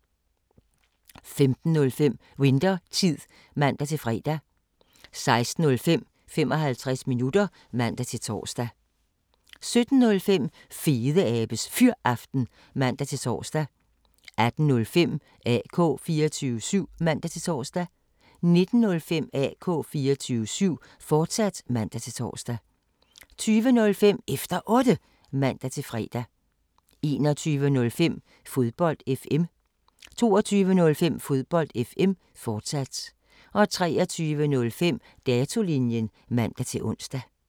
15:05: Winthertid (man-fre) 16:05: 55 minutter (man-tor) 17:05: Fedeabes Fyraften (man-tor) 18:05: AK 24syv (man-tor) 19:05: AK 24syv, fortsat (man-tor) 20:05: Efter Otte (man-fre) 21:05: Fodbold FM 22:05: Fodbold FM, fortsat 23:05: Datolinjen (man-ons)